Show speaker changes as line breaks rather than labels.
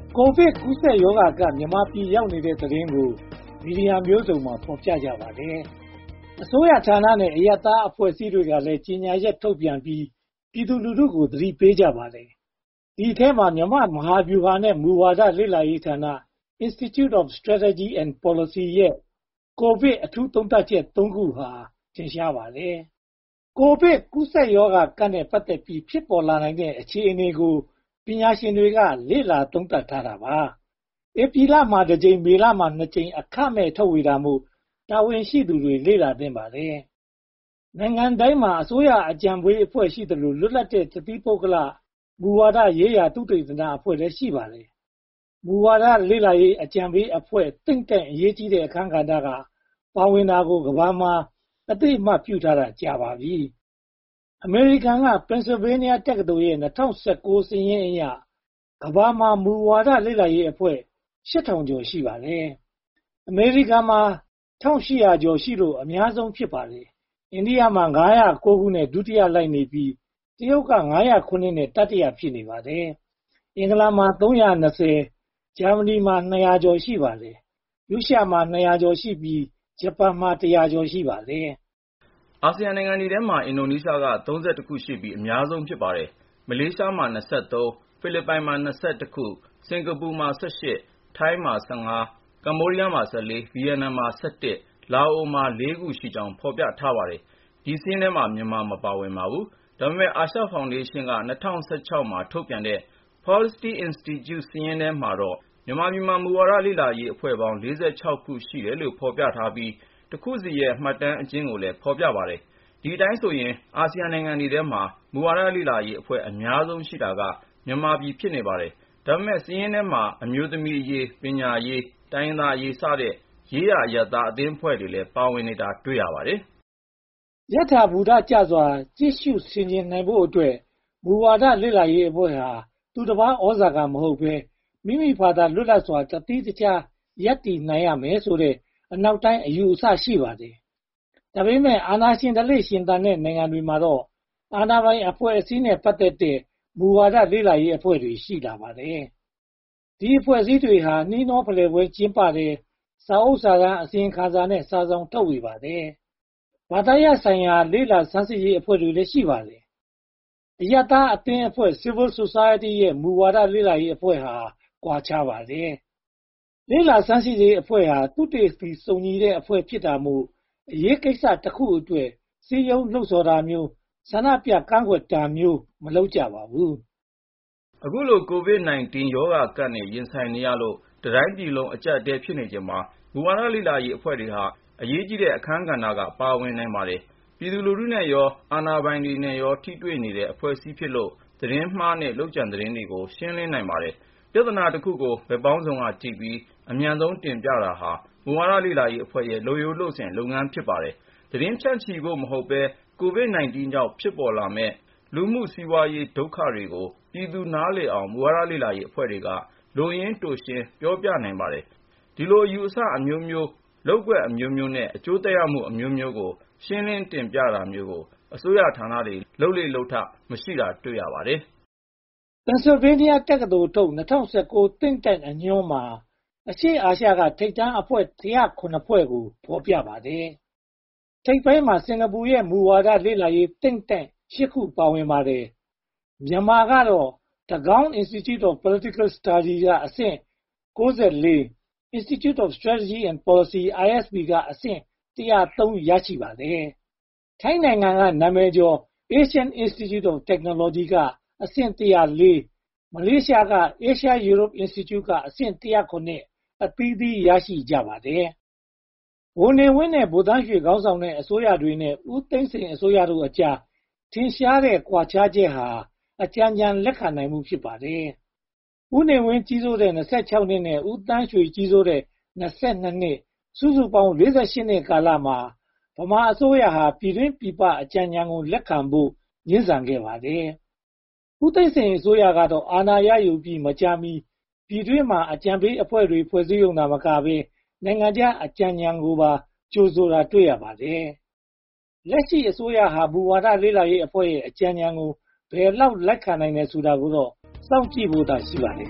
ကိုဗစ်-၁၉ ကူးစက်ကပ်ရောဂါ မြန်မာပြည်ရောက်နေတဲ့သတင်းကို မီဒီယာမျိုးစုံက ဖော်ပြကြပါတယ်။ အစိုးရဌာနဲ့ အရပ်ဘက်အဖွဲ့အစည်းတွေကလည်း ကြေညာချက်ထုတ်ပြန်ပြီး ပြည်သူလူထုကို သတိပေးကြပါတယ်။ ဒီအထဲမှာ မြန်မာ့မဟာဗျူဟာနဲ့ မူဝါဒလေ့လာရေးဌာန Institute for Strategy and Policy ရဲ့ ကိုဗစ်-၁၉ အထူးသုံးသပ်ချက် ခုဟာ ထင်ရှားပါတယ်။ ကိုဗစ်-၁၉ ကူးစက်ကပ်ရောဂါနဲ့ ပတ်သက်ပြီး ဖြစ်ပေါ်လာနိုင်တဲ့ အခြေအနေကို ပညာရှင်တွေက လေ့လာသုံးသပ်ထားပါတယ်။ ဧပြီလမှာ တကြိမ်၊ မေလမှာ နှစ်ကြိမ် အခမဲ့ထုတ်ဝေတာမို့ တာဝန်ရှိသူတွေ လေ့လာသင့်ပါတယ်။ နိုင်ငံတိုင်းမှာ အစိုးရအကြံပေးအဖွဲ့ ရှိသလို၊ လွတ်လပ်တဲ့ တသီးပုဂ္ဂလ မူဝါဒရေးရာသုတေသနအဖွဲ့လည်း ရှိပါတယ်။ မူဝါဒလေ့လာရေးအကြံပေးအဖွဲ့ Think Tank ရဲ့ အရေးကြီးတဲ့ အခန်းကဏ္ဍ ပါဝင်တာကိုလည်း ကမ္ဘာပေါ်မှာ အသိအမှတ်ပြုထားတာ ကြာပါပြီ။ အမေရိကန်က Pennsylvania တက္ကသိုလ်ရဲ့ ၂၀၁၉ စာရင်းအရ ကမ္ဘာမှာ မူဝါဒလေ့လာရေးအဖွဲ့ ရှိပါတယ်။ အမေရိကန်မှာ ဖွဲ့ရှိလို့ အများဆုံး ဖြစ်ပါတယ်။ အိန္ဒိယက နဲ့ ဒုတိယလိုက်နေပြီး၊ တရုတ်က ဖွဲ့နဲ့ တတိယ ဖြစ်နေပါတယ်။ အင်္ဂလန်မှာ ၊ ဂျာမဏီ ရှိပါတယ်။ ရုရှားမှာ ဖွဲ့ရှိပြီး ဂျပန်မှာ ဖွဲ့ ရှိပါတယ်။
အာဆီယံနိုင်ငံတွေထဲမှာ အင်ဒိုနေရှားက ဖွဲ့ရှိလို့ အများဆုံး ဖြစ်ပါတယ်။ မလေးရှားမှာ ဖွဲ့၊ ဖိလစ်ပိုင်မှာ ဖွဲ့၊ စင်္ကာပူမှာ ဖွဲ့၊ ထိုင်းမှာ ဖွဲ့၊ ကမ္ဘောဒီးယားမှာ ဖွဲ့၊ ဗိယက်နမ်မှာ ဖွဲ့၊ လာအိုမှာ ဖွဲ့ ရှိကြောင်း ဖော်ပြထားပါတယ်။ ဒီစာရင်းမှာ မြန်မာမပါပါဘူး။ ဒါပေမဲ့ အာရှဖောင်ဒေးရှင်းက မှာ ထုတ်ပြန်ထားတဲ့ “Policy Institute” စာရင်းမှာတော့ မြန်မာပြည်မှာ မူဝါဒလေ့လာရေးအဖွဲ့ပေါင်း ဖွဲ့ ရှိတယ်လို့ ဖော်ပြထားပြီး တဖွဲ့ချင်းရဲ့ မှတ်တမ်းအကျဉ်းကိုလည်း ဖော်ပြထားပါတယ်။ ဒီအတိုင်းဆိုရင် အာဆီယံနိုင်ငံတွေထဲမှာ မူဝါဒလေ့လာရေးအဖွဲ့ အများဆုံးရှိတာဟာ မြန်မာပြည် ဖြစ်နေပါတယ်။ ဒါပေမဲ့ ဒီစာရင်းထဲမှာ အမျိုးသမီးအရေး၊ ပညာရေး၊ တိုင်းရင်းသားအရေးစတဲ့ ရေးရာအရပ်သား အသင်းအဖွဲ့တွေလည်း ပါဝင်နေတာ တွေ့ရပါတယ်
။ ယထာဘူတကျစွာ ကြည့်ရှုဆင်ခြင်နိုင်ဖို့အတွက် မူဝါဒလေ့လာရေးအဖွဲ့ဟာ သူ့တပါးသြဇာမဟုတ်ဘဲ၊ မိမိဘာသာသီးခြားလွတ်လပ်စွာ ရပ်တည်နိုင်ရမယ်ဆိုတဲ့ အနောက်တိုင်းအယူအဆ ရှိပါတယ်။ ဒါပေမဲ့ အာဏာရှင်ဓလေ့ ရင့်သန်နေတဲ့ နိုင်ငံတွေမှာတော့ အာဏာပိုင်အဖွဲ့အစည်းနဲ့ ပတ်သက်တဲ့ မူဝါဒလေ့လာရေးအဖွဲ့တွေ ရှိလာပါတယ်။ ဒီအဖွဲ့အစည်းတွေဟာ နှီးနှောဖလှယ်ပွဲတွေ ကျင်းပတယ်။ စာအုပ်စာတမ်း အစီရင်ခံစာနဲ့ စာစောင်တွေ ထုတ်ဝေပါတယ်။ ဘာသာရပ်ဆိုင်ရာ လေ့လာဆန်းစစ်ရေးအဖွဲ့တွေလည်း ရှိပါတယ်။ အရပ်သားအသင်းအဖွဲ့ နဲ့ မူဝါဒလေ့လာရေးအဖွဲ့ဟာ ကွာခြားပါတယ်။ လေ့လာဆန်းစစ်ရေးအဖွဲ့ဟာ သုတေသီစုံညီတဲ့အဖွဲ့ ဖြစ်တာမို့ အရေးကိစ္စတခုအတွက် စည်းရုံးလှုံဆော်တာမျိုး၊ ဆန္ဒပြကန့်ကွက်တာမျိုး မလုပ်ကြပါဘူး
။ အခုလို ကိုဗစ်-၁၉ ကပ်ရောဂါနဲ့ ရင်ဆိုင်နေရလို့ တပြည်လုံးအကျပ်အတည်း ဖြစ်နေချိန်မှာ မူဝါဒလေ့လာရေးအဖွဲ့တွေဟာ အရေးကြီးတဲ့အခန်းက ပါဝင်နိုင်ပါတယ်။ ပြည်သူလူထုနဲ့ရော အာဏာပိုင်နဲ့ရော ထိတွေ့နေတဲ့ အဖွဲ့အစည်းတွေဖြစ်လို့ သတင်းမှားနဲ့ လုပ်ကြံသတင်းတွေကို ရှင်းလင်းနိုင်ပါတယ်။ ပြဿနာတခုကို ဘက်ပေါင်းစုံကကြည့်ပြီး အမြန်ဆုံးတင်ပြတာဟာ မူဝါဒလေ့လာရေးအဖွဲ့ရဲ့ လုပ်ရိုးလုပ်စဉ်လုပ်ငန်း ဖြစ်ပါတယ်။ သတင်းဖြန့်ချီဖို့ မဟုတ်ဘဲ၊ ကိုဗစ်-၁၉ ကြောင့် ဖြစ်ပေါ်လာမယ့် လူမှုစီးပွားရေး ဒုက္ခတွေကိုလည်း ပြည်သူလူထု နားလည်အောင် မူဝါဒလေ့လာရေးအဖွဲ့တွေက လိုရင်းတိုရှင်း ပြောပြနိုင်ပါတယ်။ ဒီလိုအယူအဆအမျိုးမျိုး၊ လုပ်ကွက်အမျိုးမျိုးနဲ့ အကျိုးသက်ရောက်မှုအမျိုးမျိုးကို ရှင်းလင်းတင်ပြတမျိုးကို အစိုးရဌာနတွေ လုပ်လေ့လုပ်ထ မရှိတာကို တွေ့ရပါတယ်။
Pennsylvania တက္ကသိုလ်ထုတ် ၂၀၁၉ Think Tank အညွန်းမှာ အရှေ့အာရှက ထိပ်တန်းအဖွဲ့ ဖွဲ့ကို ဖော်ပြထားပါတယ်။ ထိပ်တိုင်းမှာ စင်္ကာပူရဲ့ မူဝါဒလေ့လာရေး Think Tank ဖွဲ့ ပါဝင်ပါတယ်။ မြန်မာကတော့ Tagaung Institute of Political Studies က အဆင့် ၊ Institute for Strategy and Policy က အဆင့် မှာ ရှိပါတယ်။ ထိုင်းနိုင်ငံကနာမည်ကျော် Asian Institute of Technology က အဆင့် ၊ မလေးရှားက Asia-Europe Institute က အဆင့် အသီးသီး ရှိကြပါတယ်။ ဗိုလ်နေဝင်းနဲ့ ဗိုလ်သန်းရွှေ ခေါင်းဆောင်ခဲ့တဲ့ အစိုးရတွေနဲ့ ဦးသိန်းစိန်အစိုးရတို့ကြား ထင်ရှားတဲ့ ကွာခြားချက်က အကြံဉာဏ် လက်ခံနိုင်မှု ဖြစ်ပါတယ်။ ဦးနေဝင်း ကြီးစိုးခဲ့တဲ့ နှစ်နဲ့ ဦးသန်းရွှေ ကြီးစိုးခဲ့တဲ့ နှစ် စုစုပေါင်း နှစ်ကာလမှာ ဗမာအစိုးရဟာ ပြည်တွင်းပြည်ပ အကြံဉာဏ်တွေကို လက်ခံဖို့ ငြင်းဆန်ခဲ့ပါတယ်။ ဦးသိန်းစိန်အစိုးရကတော့ အာဏာရယူပြီး မကြာမီ ပြည်တွင်းမှာ အကြံပေးအဖွဲ့တွေ ဖွဲ့စည်းရုံသာမကဘဲ နိုင်ငံခြားအကြံဉာဏ်ကိုပါ ကြိုဆိုတာကို တွေ့ရပါတယ်။ လက်ရှိအစိုးရက မူဝါဒလေ့လာရေးအဖွဲ့တွေရဲ့ အကြံဉာဏ်ကို ဘယ်လောက် လက်ခံတယ်ဆိုတာကိုတော့ စောင့်ကြည့်ဖို့သာ ရှိပါတယ်